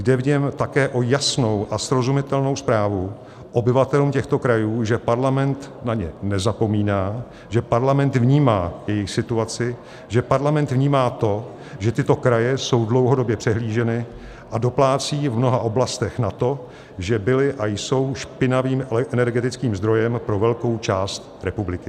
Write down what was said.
Jde v něm také o jasnou a srozumitelnou zprávu obyvatelům těchto krajů, že parlament na ně nezapomíná, že parlament vnímá jejich situaci, že parlament vnímá to, že tyto kraje jsou dlouhodobě přehlíženy a doplácejí v mnoha oblastech na to, že byly a jsou špinavým energetickým zdrojem pro velkou část republiky.